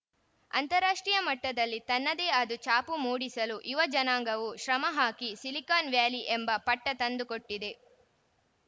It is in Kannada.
ಅಂತಾರಾಷ್ಟ್ರೀಯ ಮಟ್ಟದಲ್ಲಿ ತನ್ನದೇ ಆದ ಛಾಪು ಮೂಡಿಸಲು ಯುವ ಜನಾಂಗವು ಶ್ರಮಹಾಕಿ ಸಿಲಿಕಾನ್‌ ವ್ಯಾಲಿ ಎಂಬ ಪಟ್ಟತಂದುಕೊಟ್ಟಿದೆ